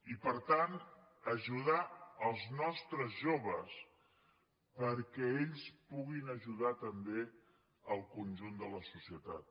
i per tant ajudar els nostres joves perquè ells puguin ajudar també el conjunt de la societat